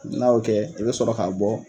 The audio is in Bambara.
N'a y'o kɛ i bɛ sɔrɔ k'a bɔ